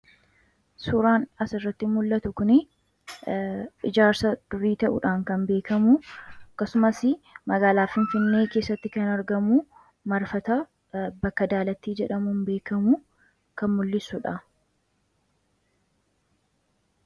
Suuraan asirratti mul'atu kunii ijaarsa durii ta'uudhaan kan beekamu akkasumasii magaalaa Finfinnee keessatti kan argamu marfata bakka Daalattii jedhamuun beekamu kan mul'isu dha.